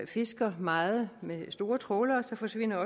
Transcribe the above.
fisker meget med store trawlere så forsvinder